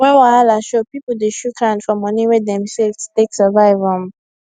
when wahala show people dey shook hand for moni wey dem save to take survive um